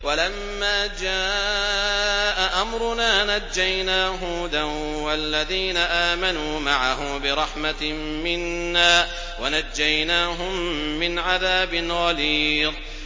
وَلَمَّا جَاءَ أَمْرُنَا نَجَّيْنَا هُودًا وَالَّذِينَ آمَنُوا مَعَهُ بِرَحْمَةٍ مِّنَّا وَنَجَّيْنَاهُم مِّنْ عَذَابٍ غَلِيظٍ